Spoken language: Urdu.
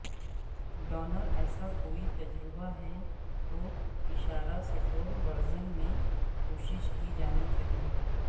ڈونر ایسا کوئی تجربہ ہے تو اشارہ سٹور ورژن میں کوشش کی جانی چاہئے